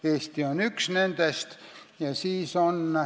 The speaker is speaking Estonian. Eesti on üks nendest.